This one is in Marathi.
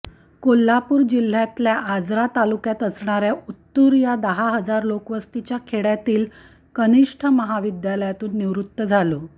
कोल्हापूर जिल्ह्य़ातल्या आजरा तालुक्यात असणाऱ्या उत्तुर या दहा हजार लोकवस्तीच्या खेडय़ातील कनिष्ठ महाविद्यालयातून निवृत्त झालो